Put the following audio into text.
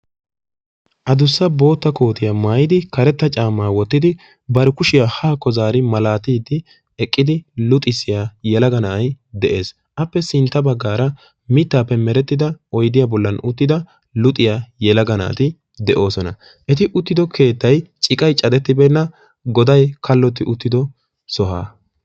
addussa bootta kootiyaa maayyidi karetta caama wottidi bar kushiyaa haakko zaari malatide eqqidi luxissiyaa yelaga na'ay de'ees, appe sintta baggara mittappe meretidda oydiya bollan uttida yelaga naati de'oosona,; eti uttido keettay ciqqay caddetibeena goday kalotti uttido sohuwaa.